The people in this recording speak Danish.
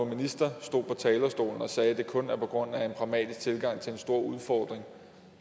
minister stod på talerstolen og sagde at det kun var på grund af en pragmatisk tilgang til en stor udfordring